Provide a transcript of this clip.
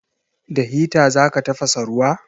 Da hita za ka tafasa ruwa?